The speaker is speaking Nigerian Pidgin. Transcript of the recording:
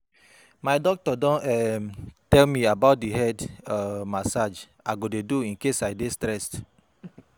Too much of much of dat thing dey disturb my brain so I don stop to take am